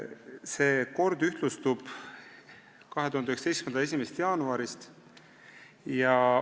See kord ühtlustub 2019. aasta 1. jaanuarist.